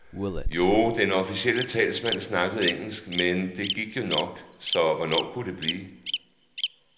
Jo, den officielle talsmand snakkede engelsk, men det gik jo nok, så hvornår kunne det blive?